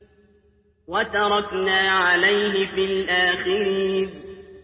وَتَرَكْنَا عَلَيْهِ فِي الْآخِرِينَ